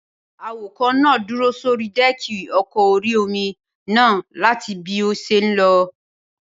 Awakọ̀ náà dúró sórí dẹ́ẹ̀kì ọkọ̀ orí-omi náà láti bí ó ṣe n lọ